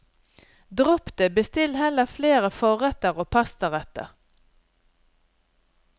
Dropp det, bestill heller flere forretter og pastaretter.